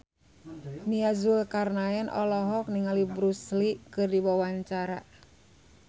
Nia Zulkarnaen olohok ningali Bruce Lee keur diwawancara